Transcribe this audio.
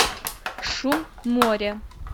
шум моря